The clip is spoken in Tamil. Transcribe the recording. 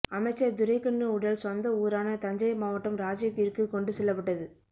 அமைச்சர் துரைக்கண்ணு உடல் சொந்த ஊரான தஞ்சை மாவட்டம் ராஜகிரிக்கு கொண்டு செல்லப்பட்டது